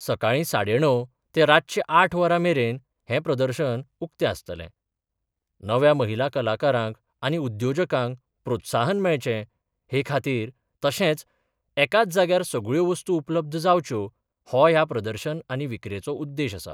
सकाळी साडे णव ते रातचे आठ वरां मेरेन हे प्रदर्शन उक्त आसतलें नव्या महिला कलाकारांक आनी उद्योजकांक प्रोत्साहन मेळचें हे खातीर तशेंच एकाच जायार सगळ्यो वस्तू उपलब्ध जावच्यो हो ह्या प्रदर्शन आनी विक्रीचो उद्देश आसा.